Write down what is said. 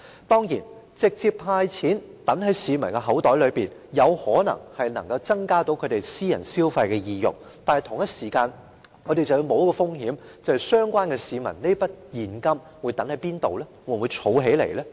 當然，直接派錢入市民口袋，有可能增加他們私人消費的意欲，但同一時間，我們要冒一個風險，便是市民會把這筆現金放在哪裏呢？